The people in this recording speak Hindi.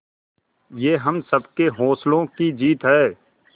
ये हम सबके हौसलों की जीत है